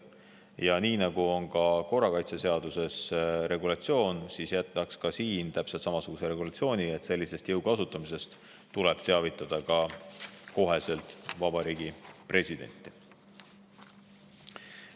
Ja nii nagu on korrakaitseseaduses, jätaksime siin täpselt samasuguse regulatsiooni: sellisest jõu kasutamisest tuleb otsekohe teavitada ka Vabariigi Presidenti.